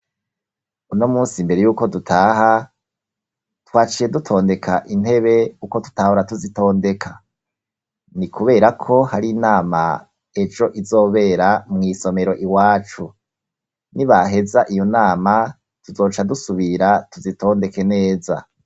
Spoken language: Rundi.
Uno munsi mbere y'uko dutaha, twaciye dutondeka intebe uko tutahora tuzitondeka. Ni kubera ko hari inama ejo izobera mw'isomero iwacu nibaheza iyo nama tuzoca dusubira tuzitondeke neza.